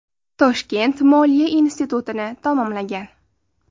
Toshkent moliya institutini tamomlagan.